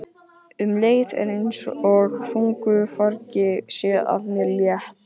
Um leið er einsog þungu fargi sé af mér létt.